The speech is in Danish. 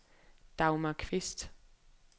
Dagmar Kvist